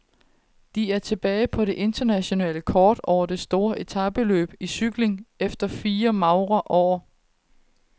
De er tilbage på det internationale kort over store etapeløb i cykling efter fire magre år.